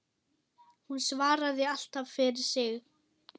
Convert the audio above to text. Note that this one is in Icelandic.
Hún svaraði alltaf fyrir sig.